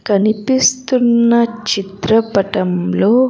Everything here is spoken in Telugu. కనిపిస్తున్న చిత్రపటంలో.